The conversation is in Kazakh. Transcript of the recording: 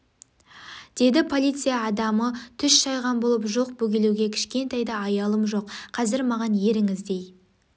деді полиция адамы түс шайған болып жоқ бөгелуге кішкентай да аялым жоқ қазір маған еріңіз дей